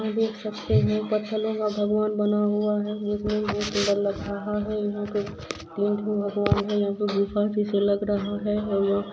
हम देख सकते है पत्थरो का भगवान बना हुआ है जिसमे तीन तीन भगवान है ये कोई गुफा जैसा लग रहा है।